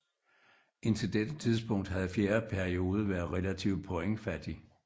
Indtil dette tidspunkt havde fjerde periode været relativ pointfattig